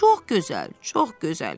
Çox gözəl, çox gözəl.